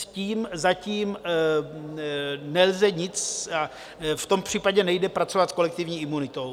S tím zatím nelze nic... a v tom případě nejde pracovat s kolektivní imunitou.